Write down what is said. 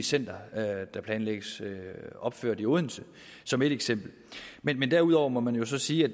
center der planlægges opført i odense som et eksempel men men derudover må man jo sige at